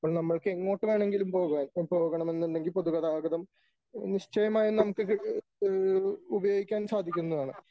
അപ്പോൾ നമ്മൾക്ക് എങ്ങോട്ട് വേണമെങ്കിലും പോകുവാൻ പോകണമെന്നുണ്ടെങ്കിൽ പൊതുഗതാഗതം നിശ്ചയമായും നമുക്കിത് ഉപയോഗിക്കാൻ സാധിക്കുന്നതാണ് .